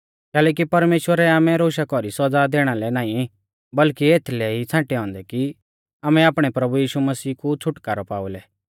कैलैकि परमेश्‍वरै आमै रोशा कौरी सौज़ा दैणा लै नाईं बल्कि एथलै ई छ़ांटै औन्दै कि आमै आपणै प्रभु यीशु मसीह कु छ़ुटकारौ पाई लै